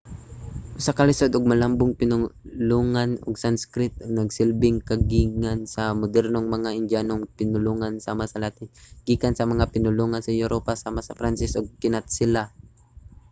usa ka lisod ug malambong pinulungan ang sanskrit nga nagsilbing kagikan sa mga modernong mga indyanong pinulongan sama sa latin nga kagikan sa mga pinulungan sa europa sama sa pranses ug kinatsila